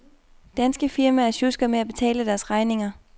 Danske firmaer sjusker med at betale deres regninger.